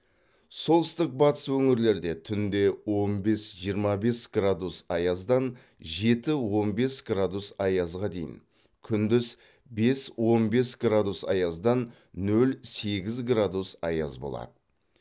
солтүстік батыс өңірлерде түнде он бес жиырма бес градус аяздан жеті он бес градус аязға дейін күндіз бес он бес градус аяздан нөл сегіз градус аяз болады